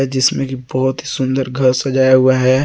जिसमे की बहोत ही सुंदर घर सजाया हुआ है।